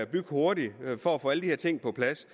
bygge hurtigt for at få alle de her ting på plads